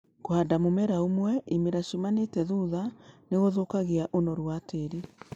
Kũhanda mũmera ũmwe ĩmera cĩmanĩte thũtha nĩ gũthũkagia ũnoru wa tĩri.